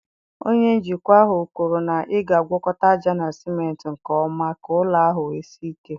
Onye njikwa ahụ kwuru na ị ga-agwakọta ájá na cimenti nke ọma ka ụlọ ahụ wee sie ike.